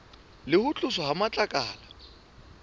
le ho tloswa ha matlakala